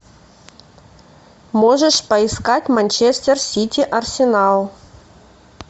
можешь поискать манчестер сити арсенал